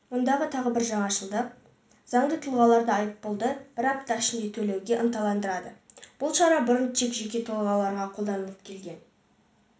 ондағы тағы бір жаңашылдық заңды тұлғаларды айыппұлды бір апта ішінде төлеуге ынталандырады бұл шара бұрын тек жеке тұлғаларға қолданылып келген